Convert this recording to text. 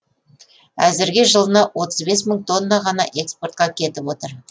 әзірге жылына отыз бес мың тонна ғана экспортқа кетіп отыр